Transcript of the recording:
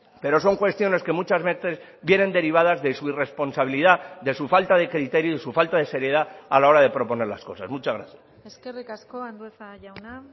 pero son cuestiones que muchas veces vienen derivadas de su irresponsabilidad de su falta de criterio y su falta de seriedad a la hora de proponer las cosas muchas gracias eskerrik asko andueza jauna